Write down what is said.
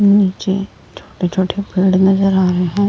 नीचे छोटे-छोटे पेड़ नजर आ रहे हैं।